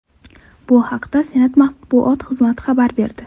Bu haqda Senat matbuot xizmati xabar berdi .